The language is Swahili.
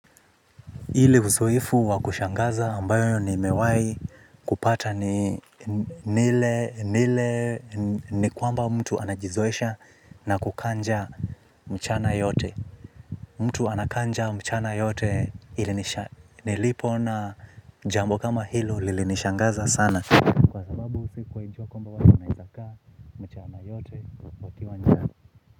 Ile uzoefu wa kushangaza ambayo ni mewai kupata ni nile nile ni kwamba mtu anajizoesha na kukaa njaa mchana yote. Mtu anakaa njaa mchana yote ilinisha nilipoona jambo kama hilo lilinishangaza sana.